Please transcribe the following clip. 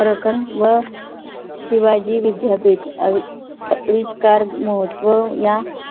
प्रकरण व शिवाजी विद्यापीठ कोळापुर अविष्कार महत्व या